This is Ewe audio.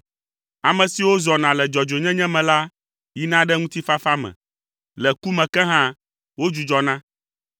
Ame siwo zɔna le dzɔdzɔenyenye me la yina ɖe ŋutifafa me, le ku me ke hã, wodzudzɔna.